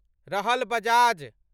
रहल बजाज